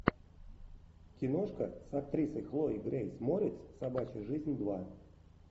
киношка с актрисой хлоя грейс морец собачья жизнь два